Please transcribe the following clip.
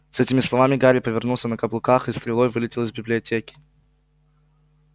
с этими словами гарри повернулся на каблуках и стрелой вылетел из библиотеки